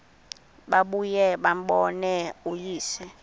babuye bambone uyise